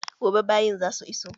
Gobe bayin za su iso